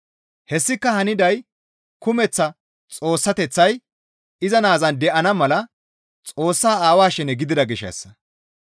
Hessika haniday kumeththa Xoossateththay iza Naazan de7ana mala Xoossaa Aawaa shene gidida gishshassa.